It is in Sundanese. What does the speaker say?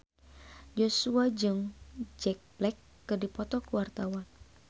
Joshua jeung Jack Black keur dipoto ku wartawan